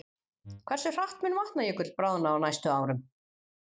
Hversu hratt mun Vatnajökull bráðna á næstu árum?